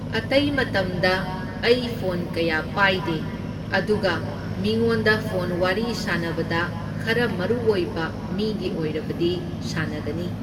ꯑꯇꯩ ꯃꯇꯝꯗ ꯑꯩ ꯐꯣꯟ ꯀꯌꯥ ꯄꯥꯏꯗꯦ, ꯑꯗꯨꯒ ꯃꯤꯉꯣꯟꯗ ꯐꯣꯟ ꯋꯥꯔꯤ ꯁꯥꯟꯅꯕꯗ ꯈꯔ ꯃꯔꯨꯑꯣꯏꯕ ꯃꯤꯒꯤ ꯑꯣꯏꯔꯕꯗꯤ ꯁꯥꯟꯅꯒꯅꯤ꯫